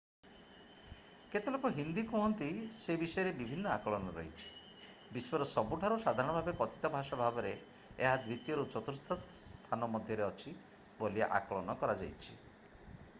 କେତେ ଲୋକ ହିନ୍ଦୀ କୁହନ୍ତି ସେ ବିଷୟରେ ବିଭିନ୍ନ ଆକଳନ ରହିଛି ବିଶ୍ଵର ସବୁଠାରୁ ସାଧାରଣ ଭାବେ କଥିତ ଭାଷା ଭାବରେ ଏହା ଦ୍ୱିତୀୟରୁ ଚତୁର୍ଥ ସ୍ଥାନ ମଧ୍ୟରେ ଅଛି ବୋଲି ଆକଳନ କରାଯାଇଛି